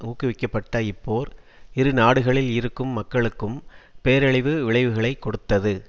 ஊக்குவிக்கப்பட்ட இப்போர் இரு நாடுகளில் இருக்கும் மக்களுக்கும் பேரழிவு விளைவுகளை கொடுத்தது